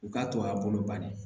U k'a to a bolo banni